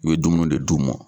U ye dumuni de d'u ma.